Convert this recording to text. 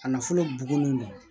A nafolo bugun